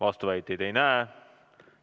Vastuväiteid ei näe.